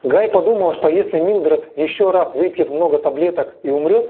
гай подумала что если милдред ещё раз выпьет много таблеток и умрёт